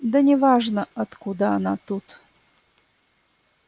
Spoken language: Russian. да неважно откуда она тут